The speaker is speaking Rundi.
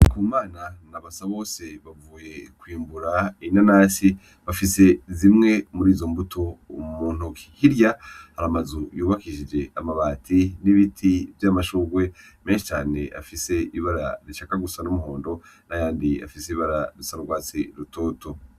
Ndikumana na Basabose bavuye kwimbura inanasi bafise zimwe murizo mbuto mu ntoki, hirya hari amazu y'ubakishije amabati n'ibiti vy'amashurwe menshi afise ibara rishaka gusa n'umuhondo nayandi afise ibara risa n'urwatsi rutoto.